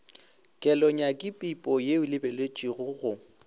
kelonyakipipo ye e lebeletpego go